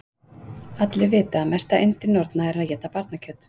Allir vita að mesta yndi norna er að éta barnakjöt.